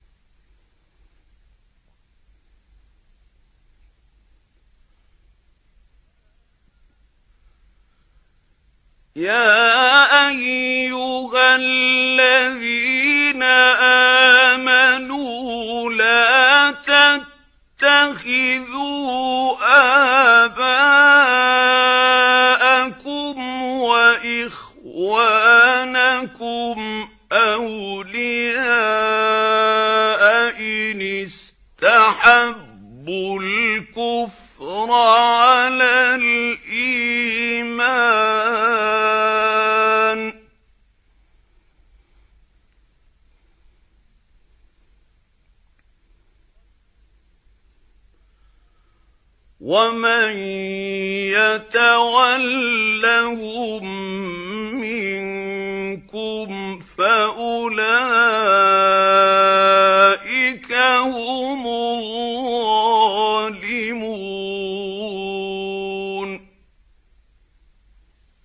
يَا أَيُّهَا الَّذِينَ آمَنُوا لَا تَتَّخِذُوا آبَاءَكُمْ وَإِخْوَانَكُمْ أَوْلِيَاءَ إِنِ اسْتَحَبُّوا الْكُفْرَ عَلَى الْإِيمَانِ ۚ وَمَن يَتَوَلَّهُم مِّنكُمْ فَأُولَٰئِكَ هُمُ الظَّالِمُونَ